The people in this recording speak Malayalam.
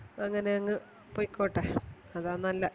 അങ്ങനെയങ് പോയ്ക്കോട്ടെ അതാ നല്ലെ